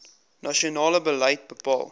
nasionale beleid bepaal